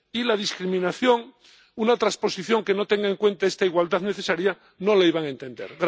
Y la discriminación, una transposición que no tenga en cuenta esta igualdad necesaria, no la iban a entender.